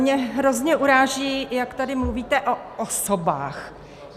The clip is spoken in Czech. Mě hrozně uráží, jak tady mluvíte o osobách.